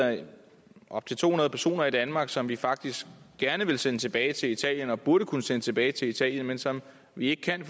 op til to hundrede personer i danmark som vi faktisk gerne ville sende tilbage til italien og burde kunne sende tilbage til italien men som vi ikke kan